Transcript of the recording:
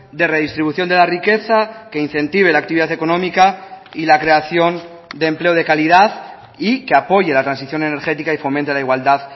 de redistribución de la riqueza que incentive la actividad económica y la creación de empleo de calidad y que apoye la transición energética y fomente la igualdad